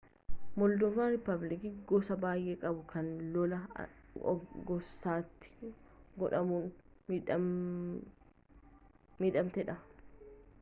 mooldovaan rippubilikii gosa baayee qabdu kan lola gosaatiin godhamuun midhamtee dha